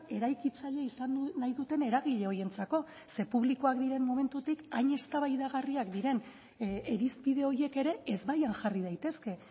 eraikitzaile izan nahi duten eragile horientzako ze publikoak diren momentutik hain eztabaidagarriak diren irizpide horiek ere ezbaian jarri daitezke